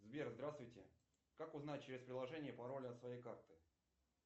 сбер здравствуйте как узнать через приложение пароль от своей карты